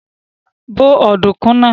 Bó ọ̀dùnkún náà!